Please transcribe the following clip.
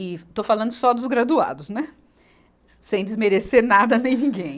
E estou falando só dos graduados, né, sem desmerecer nada nem ninguém.